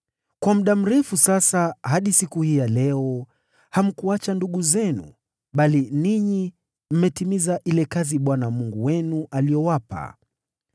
Kwa muda mrefu sasa, hadi siku hii ya leo, hamkuwaacha ndugu zenu, bali ninyi mmetimiza ile kazi Bwana Mungu wenu aliyowapa.